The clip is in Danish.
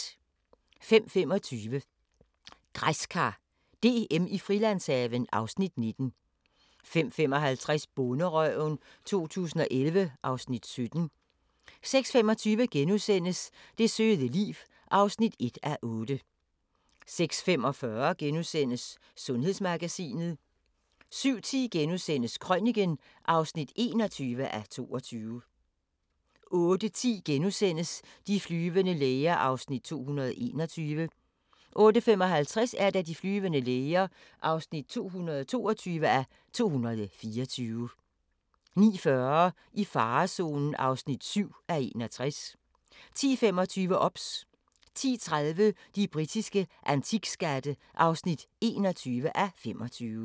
05:25: Græskar DM i Frilandshaven (Afs. 19) 05:55: Bonderøven 2011 (Afs. 17) 06:25: Det søde liv (1:8)* 06:45: Sundhedsmagasinet * 07:10: Krøniken (21:22)* 08:10: De flyvende læger (221:224)* 08:55: De flyvende læger (222:224) 09:40: I farezonen (7:61) 10:25: OBS 10:30: De britiske antikskatte (21:25)